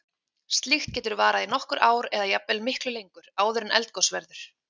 Slíkt getur varað í nokkur ár eða jafnvel miklu lengur, áður en eldgos verður.